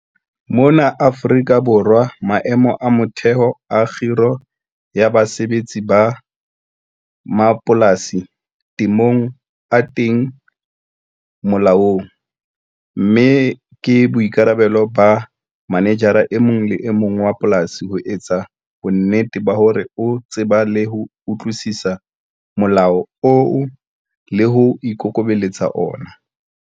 Mona Afrika Borwa maemo a motheho a kgiro ya basebetsi ba mapolasi temong a teng molaong, mme ke boikarabelo ba manejara e mong le e mong wa polasi ho etsa bonnete ba hore o tseba le ho utlwisisa molao oo le hore o ikokobelletsa ona.